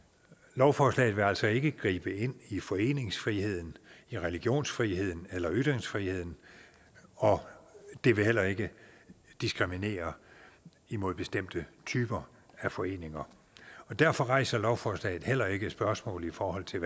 lovforslaget vil altså ikke gribe ind i foreningsfriheden i religionsfriheden eller ytringsfriheden og det vil heller ikke diskriminere mod bestemte typer af foreninger derfor rejser lovforslaget heller ikke spørgsmål i forhold til